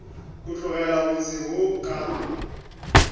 go tlogela motse wo ka